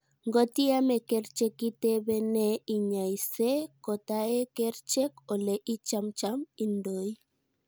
Ngot iamei kerchek itebee ne inyaise kot ae kerchek ole ichamcham indoi